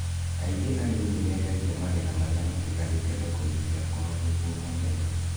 Kaingĩ arĩmi nĩ mendagia magetha marĩa matigarĩte thoko-inĩ cia kwao nĩguo mone mbeca.